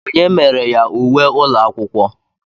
Onye mere ya uwe ụlọ akwụkwọ?